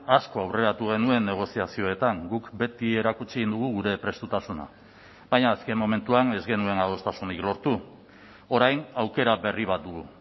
asko aurreratu genuen negoziazioetan guk beti erakutsi dugu gure prestutasuna baina azken momentuan ez genuen adostasunik lortu orain aukera berri bat dugu